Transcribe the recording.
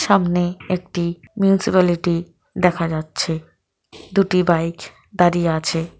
সামনে একটি মিউনিসিপ্যালিটি দেখা যাচ্ছে দুটি বাইক দাঁড়িয়ে আছে।